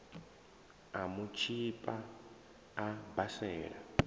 u mu tshipa a basela